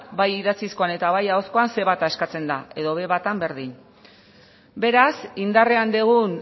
bai idatzizkoan eta bai ahozkoan ce bata eskatzen da edo be batean berdin beraz indarrean dugun